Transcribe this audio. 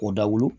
O dawu